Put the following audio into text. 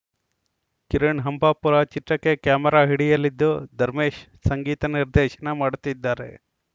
ಕಿರಣ್‌ ಹಂಪಾಪುರ ಚಿತ್ರಕ್ಕೆ ಕ್ಯಾಮರಾ ಹಿಡಿಯಲಿದ್ದು ಧರ್ಮೇಶ್‌ ಸಂಗೀತ ನಿರ್ದೇಶನ ಮಾಡುತ್ತಿದ್ದಾರೆ